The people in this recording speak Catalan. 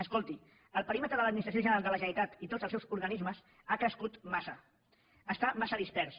escolti el perímetre de l’administració general de la generalitat i tots els seus organismes ha crescut massa està massa dispers